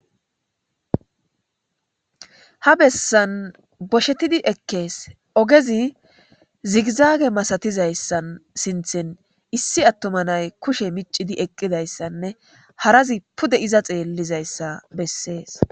ha bessan boshetidi ekkees ogezi zigizaage masatizayssan sinthen issi attuma nay kushe micidi eqqidayssanne harazi pude iza xeellizayssa bessees